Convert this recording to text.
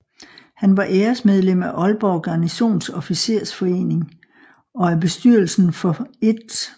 Han var æresmedlem af Aalborg Garnisons Officersforening og af bestyrelsen for 1